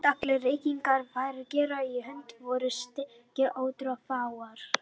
Þótt allir reikningar væru gerðir í höndum voru skekkjur ótrúlega fáar.